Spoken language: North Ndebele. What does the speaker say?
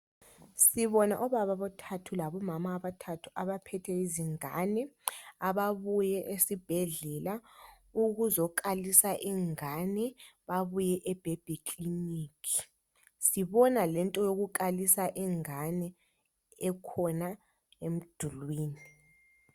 Sibona obaba abathathu labomama abathathu abaphethe izingane, ababuye esibhedlela ukuzokalisa ingane. Babuye e Baby Clinic. Sibona lento yokukalisa ingane ekhona emdulwini.